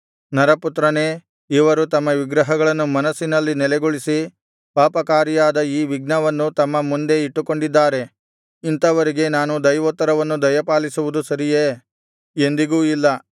ನರಪುತ್ರನೇ ಇವರು ತಮ್ಮ ವಿಗ್ರಹಗಳನ್ನು ಮನಸ್ಸಿನಲ್ಲಿ ನೆಲೆಗೊಳಿಸಿ ಪಾಪಕಾರಿಯಾದ ಈ ವಿಘ್ನವನ್ನು ತಮ್ಮ ಮುಂದೆ ಇಟ್ಟುಕೊಂಡಿದ್ದಾರೆ ಇಂಥವರಿಗೆ ನಾನು ದೈವೋತ್ತರವನ್ನು ದಯಪಾಲಿಸುವುದು ಸರಿಯೆ ಎಂದಿಗೂ ಇಲ್ಲ